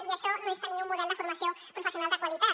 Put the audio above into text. i això no és tenir un model de formació professional de qualitat